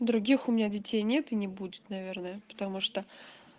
других у меня детей нет и не будет наверное потому что